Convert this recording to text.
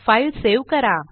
file save करा